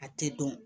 A tɛ dɔn